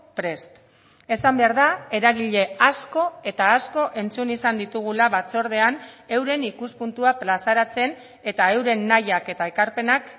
prest esan behar da eragile asko eta asko entzun izan ditugula batzordean euren ikuspuntua plazaratzen eta euren nahiak eta ekarpenak